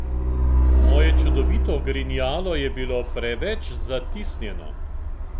Moje čudovito ogrinjalo je bilo preveč zatisnjeno!